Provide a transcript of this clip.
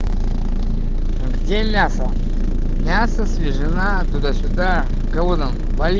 а где мясо мясо свежина туда-сюда кого-то вали